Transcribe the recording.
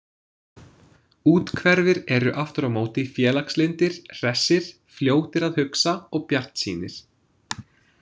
Úthverfir eru aftur á móti félagslyndir, hressir, fljótir að hugsa og bjartsýnir.